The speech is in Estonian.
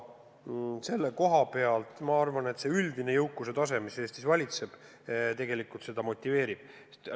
Selle koha pealt ma arvan, et see üldine jõukuse tase, mis Eestis valitseb, tegelikult seda motiveerib.